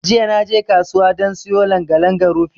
Jiya naje kasuwa dan siyo langa-langa rufi.